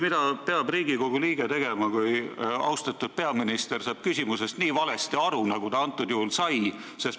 Mida peab Riigikogu liige tegema, kui austatud peaminister saab küsimusest nii valesti aru, nagu ta antud juhul sai?